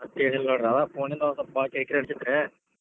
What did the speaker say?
ಮತ್ತೇನಿಲ್ಲ ನೋಡ್ರಿ ಆದ್ phone ನಿಂದ್ ಕೆಲಸ ಇತ್ರ್ಯಾ.